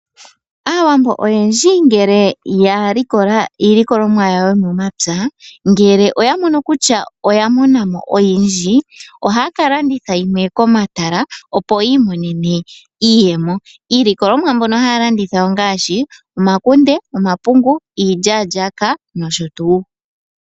Aawambo oyendji ngele ya likola iilikolomwa yawo yomomapya ngele oya mono kutya oya mo namo oyindji oha ya kalanditha yimwe komatala opo yiimonene iiyemo. Iilikolomwa mbyono haya landitha ongaashi omakunde, omapungu, iilyalyaka nosho tuu.